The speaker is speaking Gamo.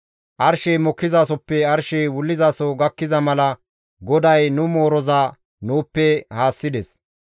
Arshey mokkizasoppe wullizasoy haakkiza mala GODAY nu mooroza nuuppe haassides.